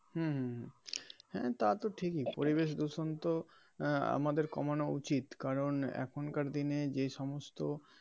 হম হম হ্যা তা তো ঠিকই পরিবেশ দূষণ তো আহ আমাদের কমানো উচিত কারণ এখনকার দিনে যেই সমস্ত.